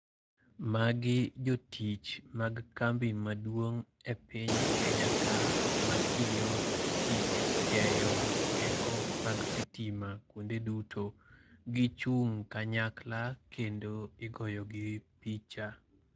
Magi jotich mag kambi maduong' e piny Kenya ka matiyo tich keyo teko mar sitima kuonde duto. Gichung' kanyakla kendo igoyogi picha.